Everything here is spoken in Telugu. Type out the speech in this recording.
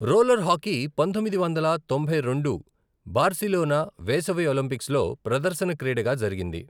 రోలర్ హాకీ పంతొమ్మిది వందల తొంభై రెండు బార్సిలోనా వేసవి ఒలింపిక్స్లో ప్రదర్శన క్రీడగా జరిగింది.